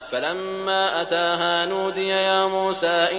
فَلَمَّا أَتَاهَا نُودِيَ يَا مُوسَىٰ